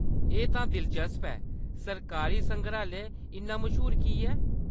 एह्‌‌ तां दिलचस्प ऐ . सरकारी संग्रैहालय इन्ना मश्हूर की ऐ ?